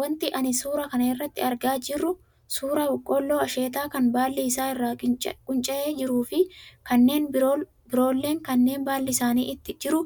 Wanti ani suuraa kana irratti argaa jirru suuraa Boqqolloo asheetaa kan baalli isaa irraa qunca'ee jiru fi kanneen biroolleen kan baalli isaanii itti jiru